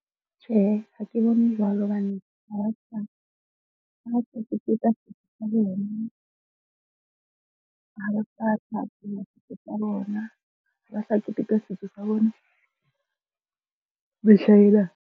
Tjhehe, ha ke bone jwalo hobane ha ba keteka setso sa bona, ha ba sa thabela setso sa bona. Ha ba sa keteka setso sa bona mehlaena.